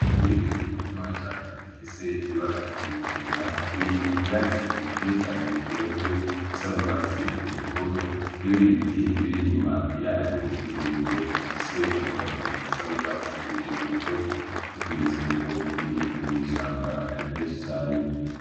Ingeregere ntoyacane ifise ibara ry'ikigina iri mu vyatsi vyinshi cane birevye bisa n'ugwatsi rutoto, n'ibindi biti birinyuma yayo birebire bifise amababi asa n'ugwatsi rutoto. N'ikimenyetso yuko irimw'ishamba ryinshi cane.